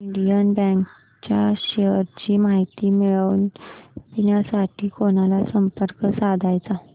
Indian bank च्या shares ची माहिती मिळविण्यासाठी कोणाला संपर्क साधायचा